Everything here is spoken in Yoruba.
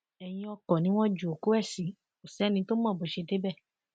ẹyin ọkọ ni wọn ju òkú ẹ sí kò sẹni tó mọ bó ṣe débẹ